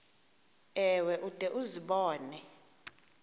ewe ude uzibone